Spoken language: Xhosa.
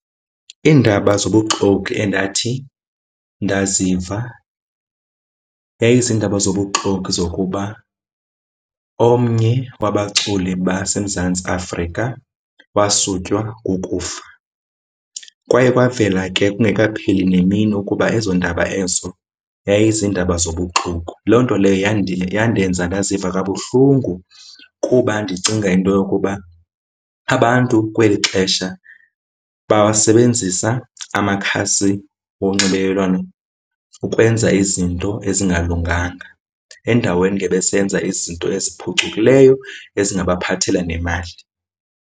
Iindaba zobuxoki endathi ndaziva yayizindaba zobuxoki zokuba omnye wabaculi baseMzantsi Afrika wasutywa kukufa. Kwaye kwavela ke kungekapheli nemini ukuba ezondaba ezo yayizindaba zobuxoki. Loo nto leyo yandenza ndaziva kabuhlungu kuba ndicinga into yokuba abantu kweli xesha bawasebenzisa amakhasi onxibelelwano ukwenza izinto ezingalunganga. Endaweni ngebesenza izinto eziphucukileyo ezingabaphathelela nemali.